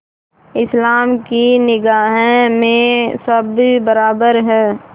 इस्लाम की निगाह में सब बराबर हैं